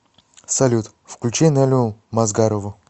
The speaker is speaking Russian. салют включи нелю мазгарову